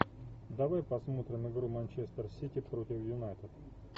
давай посмотрим игру манчестер сити против юнайтед